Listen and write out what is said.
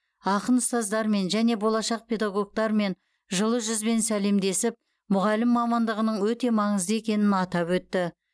ақын ұстаздармен және болашақ педагогтармен жылы жүзбен сәлемдесіп мұғалім мамандығының өте маңызды екенін атап өтті